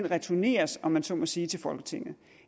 returneres om man så må sige til folketinget